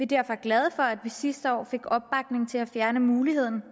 derfor glade for at vi sidste år fik opbakning til at fjerne muligheden